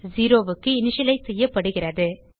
0 க்கு இனிஷியலைஸ் செய்யப்படுகிறது